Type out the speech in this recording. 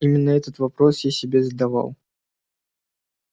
именно этот вопрос я себе задавал